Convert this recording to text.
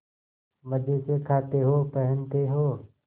मजे से खाते हो पहनते हो